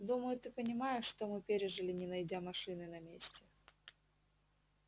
думаю ты понимаешь что мы пережили не найдя машины на месте